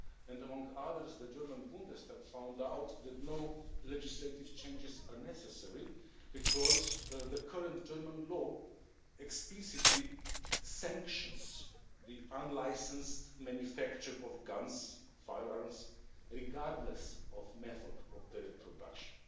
Among others, the German Bundestag found that no legislative changes are necessary because the current German law explicitly sanctions the unlicensed manufacture of guns and firearms regardless of the method of their production.